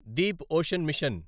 Deep ocean machine